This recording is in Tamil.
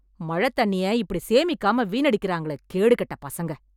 மழத் தண்ணிய இப்படி சேமிக்காம வீணடிக்கறாங்களே கேடு கெட்ட பசங்க‌